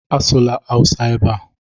Asụla awụsa ebe a!